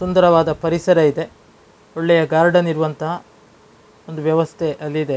ಸುಂದರವಾದ ಪರಿಸರ ಇದೆ ಒಳ್ಳೆಯ ಗಾರ್ಡನ್ ಇರುವಂಥ ಒಂದ್ ವ್ಯವಸ್ಥೆ ಅಲ್ಲಿ ಇದೆ .